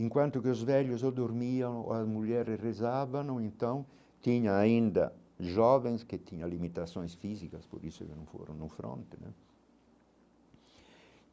Enquanto que os velhos dormiam, as mulheres rezavam, então tinha ainda jovens que tinham limitações físicas, por isso que não foram no fronte né.